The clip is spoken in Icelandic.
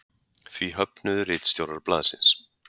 Því höfnuðu ritstjórar blaðsins